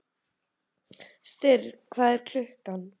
Styrr, hvað er klukkan?